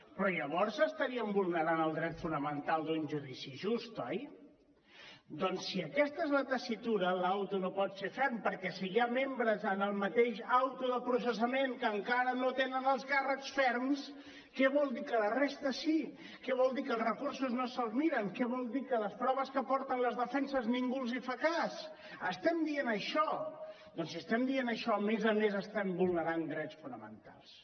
però llavors estaríem vulnerant el dret fonamental d’un judici just oi doncs si aquesta és la tessitura l’ auto no pot ser ferm perquè si hi ha membres en el mateix auto de processament que encara no tenen els càrrecs ferms què vol dir que la resta sí què vol dir que els recursos no se’ls miren què vol dir que de les proves que aporten les defenses ningú en fa cas estem dient això doncs si estem dient això a més a més estem vulnerant drets fonamentals